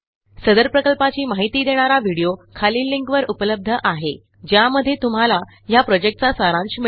सदर प्रकल्पाची माहिती देणारा व्हिडीओ खालील लिंकवर उपलब्ध आहे ज्यामध्ये तुम्हाला ह्या प्रॉजेक्टचा सारांश मिळेल